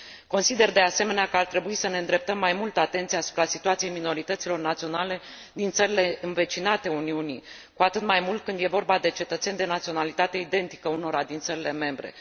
Consider, de asemenea, că ar trebui să ne îndreptăm mai mult atenția asupra situației minorităților naționale din țările învecinate Uniunii, cu atât mai mult când e vorba de cetățeni de naționalitate identică unora din țările membre.